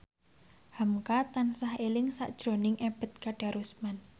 hamka tansah eling sakjroning Ebet Kadarusman